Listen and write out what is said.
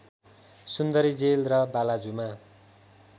सुन्दरी jail र बालाजुमा